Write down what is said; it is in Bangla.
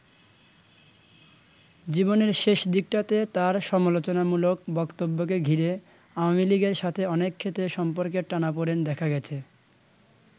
জীবনের শেষ দিকটাতে তাঁর সমালোচনামূলক বক্তব্যকে ঘিরে আওয়ামী লীগের সাথে অনেক ক্ষেত্রে সম্পর্কের টানাপোড়েন দেখা গেছে।